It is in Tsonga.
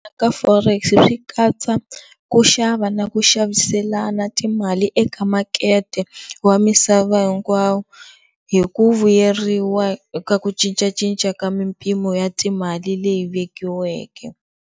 Ka Forex-i swi katsa ku xava na ku xaviselana timali eka makete wa misava hinkwawo hi ku vuyeriwa ka ku cincacinca ka mimpimo ya timale leyi vekiweke.